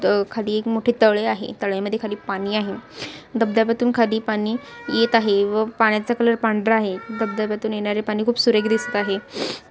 अ खाली एक मोठे तळे आहे तळ्यामद्धे खाली पाणी आहे दब-दब्यातूनखाली पाणी येत आहे व पाण्याचा कलर पांढरा आहे दब-दब्यातून येणारे पाणी खूप सुरेख दिसत आहे.